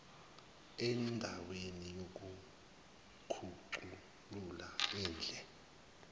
andaweni yokukhuculula indle